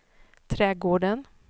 trädgården